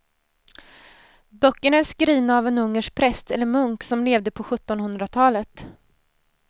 Böckerna är skrivna av en ungersk präst eller munk som levde på sjuttonhundratalet.